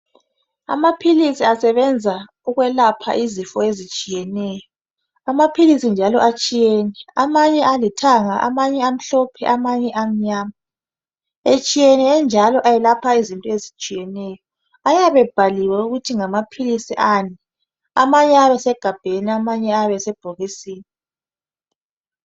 Amaphilisi asebenza ukwelapha izifo ezitshiyeneyo. Amaphilisi njalo atshiyene amanye alithanga, amanye amhlophe amanye amnyama. Etshiyene enjalo elapha izinto ezitshiyeneyo. Ayabe ebhaliwe ukuthi ngamaphilisi ani amanye ayabe esegabheni amanye ayabe esebhokisi